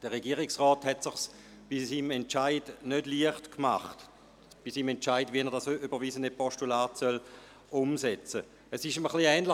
Der Regierungsrat hat es sich bei seinem Entscheid, wie er das überwiesene Postulat umsetzen soll, nicht leicht gemacht.